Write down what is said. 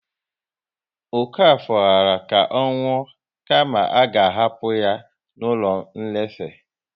Okafor ghara ka ọ nwụọ kama a ga hapụ ya n'ụlọ nlefe